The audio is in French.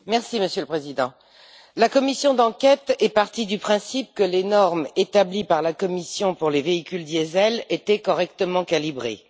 Monsieur le Président, la commission d'enquête est partie du principe que les normes établies par la Commission pour les véhicules diesel étaient correctement calibrées.